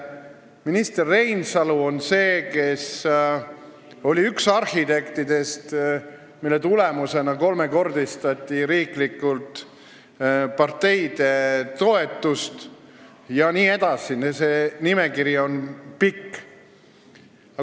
Minister Reinsalu oli üks arhitektidest, kelle töö tulemusena riik kolmekordistas parteide toetust jne – see nimekiri on pikk.